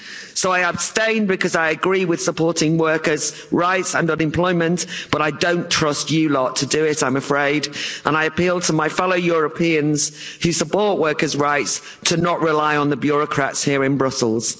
So I abstain because I agree with supporting workers' rights and unemployment, but I don't trust you lot to do it, I'm afraid, and I appeal to my fellow Europeans who support workers' rights to not rely on the bureaucrats here in Brussels.